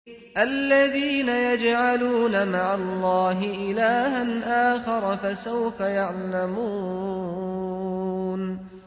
الَّذِينَ يَجْعَلُونَ مَعَ اللَّهِ إِلَٰهًا آخَرَ ۚ فَسَوْفَ يَعْلَمُونَ